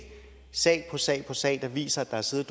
sag sag på sag der viser at der har siddet